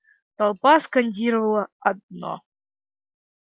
толпа скандировала одно